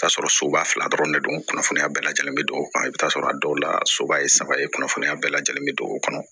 T'a sɔrɔ soba fila dɔrɔn de don kunnafoniya bɛɛ lajɛlen be don o kɔnɔ i bi t'a sɔrɔ a dɔw la soba ye saba ye kunnafoniya bɛɛ lajɛlen be don o kɔnɔ